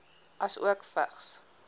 asook vigs